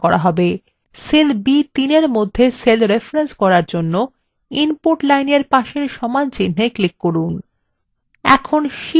cell b3 মধ্যে cell reference করার জন্য input line এর পাশের সমানচিন্হে click করুন